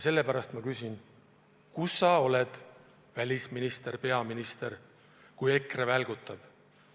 Sellepärast ma küsingi: kus sa oled, välisminister, peaminister, kui EKRE välgutab?